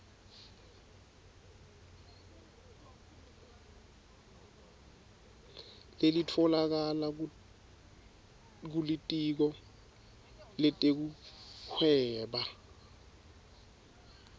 lelitfolakala kulitiko letekuhweba